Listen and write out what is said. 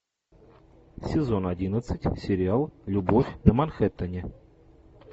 сезон одиннадцать сериал любовь на манхэттене